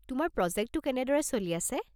তোমাৰ প্ৰজেক্টটো কেনেদৰে চলি আছে?